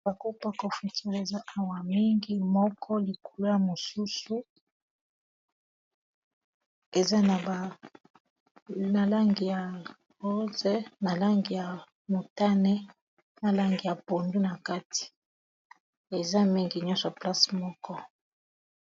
Bako pa kofiture eza awa mingi moko likulo ya mosusu eza na banalangi ya rose na langi ya motane na langi ya pondu na kati eza mingi nyonso place moko